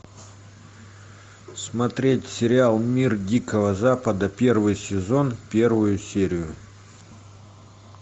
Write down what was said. смотреть сериал мир дикого запада первый сезон первую серию